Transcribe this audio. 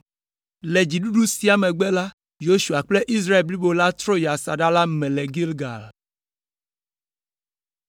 Le dziɖuɖu siawo megbe la, Yosua kple Israel blibo la trɔ yi asaɖa la me le Gilgal.